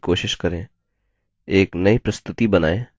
एक नई प्रस्तुति बनाएँ